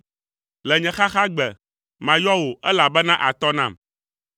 Le nye xaxagbe, mayɔ wò elabena àtɔ nam.